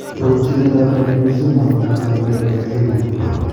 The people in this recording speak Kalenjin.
Rutchinetab Ranibizumab anan ko Bevacizumam